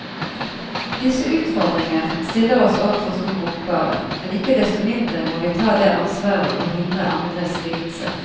Disse utfordringer stiller oss overfor store oppgaver, men ikke desto mindre må vi ta det ansvaret og hindre andres lidelser.